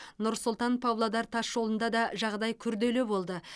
нұр сұлтан павлодар тасжолында да жағдай күрделі болды